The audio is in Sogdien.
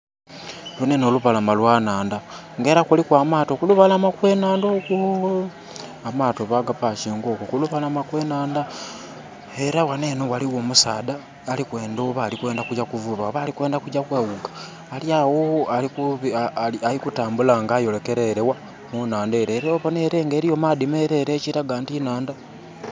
Lunho enho lubalama lwa nhandha. Ng'era kuliku amaato kulubalama okw'enhandha okwo. Amaato baga pakinga okwo kulubalama okw'enhandha. Era ghano enho ghaligho omusaadha ali kwendha, oba ali kwendha kugya kuvuba oba ali kwendha kugya kweghuga?! Ali agho ali kutambula nga ayolekera ele gha? Ku nhandha ele. Era ele obona nga eliyo maadhi melele, ekiraga nti nhandha.